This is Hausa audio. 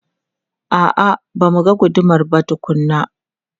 A'a, ba mu ga gudumar ba tukuna.